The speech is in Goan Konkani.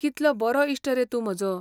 कितलो बरो इश्ट रे तूं म्हजो!